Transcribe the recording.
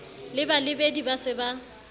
le balebedi ba se ba